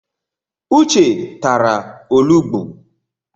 Uche tara olugbu.